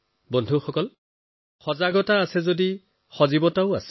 বন্ধুসকল সজাগতা থাকিলে সজীৱতা থাকে